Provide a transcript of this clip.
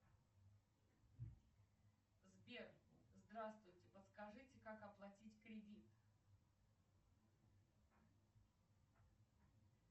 сбер здравствуйте подскажите как оплатить кредит